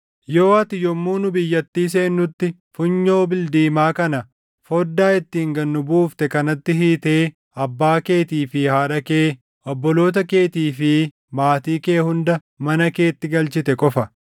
yoo ati yommuu nu biyyattii seennutti funyoo bildiimaa kana foddaa ittiin gad nu buufte kanatti hiitee abbaa keetii fi haadha kee, obboloota keetii fi maatii kee hunda mana keetti galchite qofa.